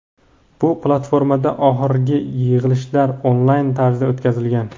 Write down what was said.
bu platformada oxirgi yig‘ilishlar onlayn tarzda o‘tkazilgan.